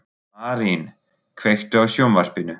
Marín, kveiktu á sjónvarpinu.